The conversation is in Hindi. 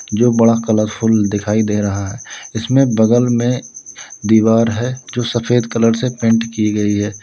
जो बड़ा कलरफुल दिखाई दे रहा है इसमें बगल में दीवार है जो सफेद कलर से पेंट की गई है।